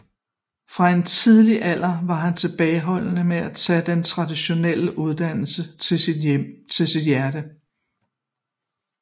Fra en tidlig alder var han tilbageholdende med at tage den traditionelle uddannelse til sit hjerte